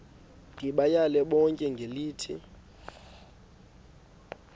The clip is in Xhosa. ndibayale bonke ngelithi